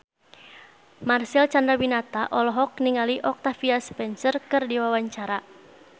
Marcel Chandrawinata olohok ningali Octavia Spencer keur diwawancara